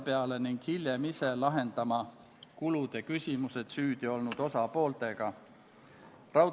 Hääletustulemused Poolt hääletas 56 Riigikogu liiget, vastuolijaid ja erapooletuid ei olnud.